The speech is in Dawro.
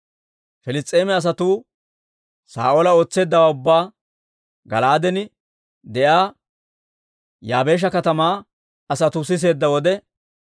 Piliss's'eema asatuu Saa'oola ootseeddawaa ubbaa Gala'aaden de'iyaa Yaabeesha katamaa asatuu siseedda wode,